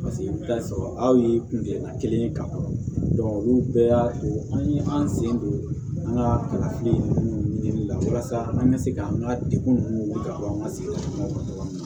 Paseke i bɛ taa sɔrɔ aw ye kungɛla kelen ye ka kɔrɔ olu bɛɛ y'a to an ye an sen don an ka kalafili ninnu ɲinini la walasa an ka se k'an ka degun ninnu wuli ka bɔ an ka sigidaw la cogo min